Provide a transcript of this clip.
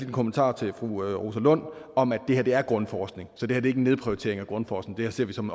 en kommentar til fru rosa lund om at det her er grundforskning så det er en nedprioritering af grundforskning det her ser vi som